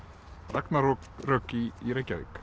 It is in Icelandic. ragnarök í Reykjavík